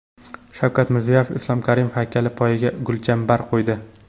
Shavkat Mirziyoyev Islom Karimov haykali poyiga gulchambar qo‘ydi .